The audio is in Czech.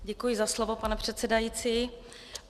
Děkuji za slovo, pane předsedající.